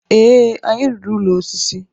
ee, anyị rụrụ ụlọ osisi